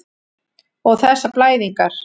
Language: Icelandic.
Og þessar blæðingar.